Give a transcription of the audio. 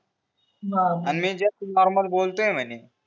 हवं का मी नॉर्मल बोलतोय म्हणे